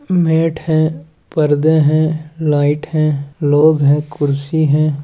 Met है पर्दे हैं लाइट है लोग हैं कुर्सी हैं ।